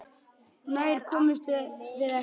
Nær komumst við ekki.